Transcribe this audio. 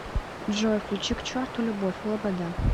джой включи к черту любовь лобода